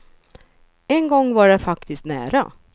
En gång var det faktiskt nära.